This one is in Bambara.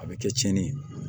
A bɛ kɛ tiɲɛni ye